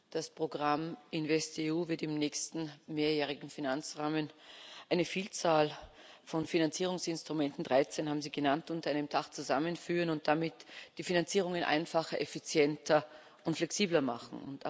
Das Programm InvestEU wird im nächsten mehrjährigen Finanzrahmen eine Vielzahl von Finanzierungsinstrumenten 13 haben Sie genannt unter einem Dach zusammenführen und damit die Finanzierungen einfacher, effizienter und flexibler machen.